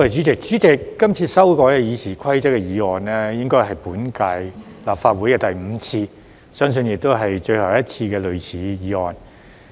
主席，今次修改《議事規則》的議案，應該是本屆立法會的第五次，相信亦是最後一次的類似議案。